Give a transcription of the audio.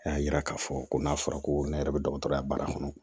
A y'a yira k'a fɔ ko n'a fɔra ko ne yɛrɛ bɛ dɔgɔtɔrɔya baara kɔnɔ